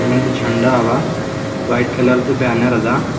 ಒಂದು ಝಂಡ ಅವ ವೈಟ್ ಕಲರ್ ದ ಬ್ಯಾನರ್ ಅದ.